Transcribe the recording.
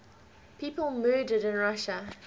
people murdered in russia